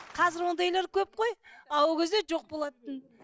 қазір ондайлар көп қой а ол кезде жоқ болатын